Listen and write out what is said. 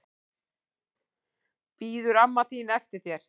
Bíður amma þín eftir þér?